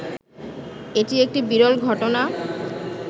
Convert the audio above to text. এটি একটি বিরল ঘটনা